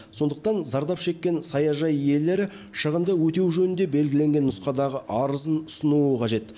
сондықтан зардап шеккен саяжай иелері шығынды өтеу жөнінде белгіленген нұсқадағы арызын ұсынуы қажет